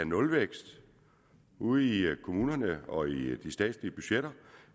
nulvækst ude i kommunerne og i de statslige budgetter